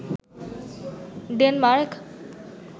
Denmark